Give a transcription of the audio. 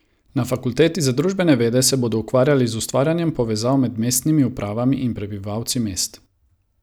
Na fakulteti za družbene vede se bodo ukvarjali z ustvarjanjem povezav med mestnimi upravami in prebivalci mest.